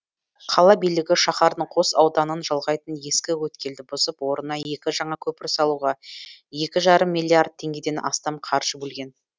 қала билігі шаһардың қос ауданын жалғайтын ескі өткелді бұзып орнына екі жаңа көпір салуға екі жарым миллиард теңгеден астам қаржы бөлген